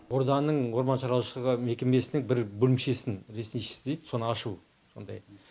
орданың орман шаруашылығы мекемесінің бір бөлімшесін лесничий дейді соны ашу сондай